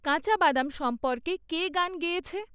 কাঁচা বাদাম সম্পর্কে কে গান গেয়েছে?